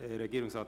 Regierungsrat